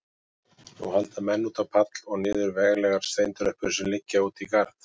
Nú halda menn út á pall og niður veglegar steintröppur sem liggja út í garð.